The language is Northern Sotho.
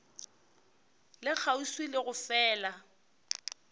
le kgauswi le go fela